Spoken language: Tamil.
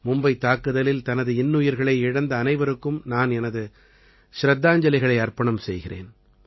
மும்பைத் தாக்குதலில் தனது இன்னுயிர்களை இழந்த அனைவருக்கும் நான் எனது சிரத்தாஞ்சலிகளை அர்ப்பணம் செய்கிறேன்